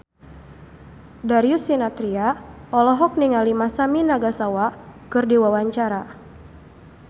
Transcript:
Darius Sinathrya olohok ningali Masami Nagasawa keur diwawancara